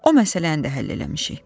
O məsələni də həll eləmişik.